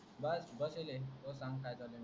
बस मजेत आहे तोय सांग की चालू आहे.